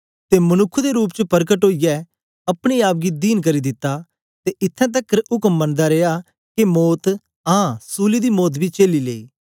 ते मनुक्ख दे रूप च परकट ओईयै अपने आप गी दीन करी दिता ते इत्थैं तकर उक्म मनदा रिया के मौत आं सूली दी मौत बी चेली लेई